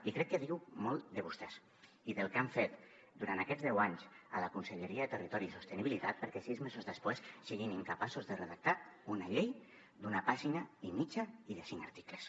i crec que diu molt de vostès i del que han fet durant aquests deu anys a la conselleria de territori i sostenibilitat perquè sis mesos després siguin incapaços de redactar una llei d’una pàgina i mitja i de cinc articles